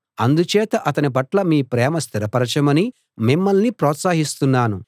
అందుచేత అతని పట్ల మీ ప్రేమ స్థిరపరచమని మిమ్మల్ని ప్రోత్సహిస్తున్నాను